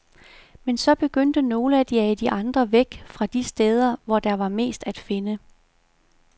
Men så begyndte nogle at jage de andre væk fra de steder, hvor der var mest at finde.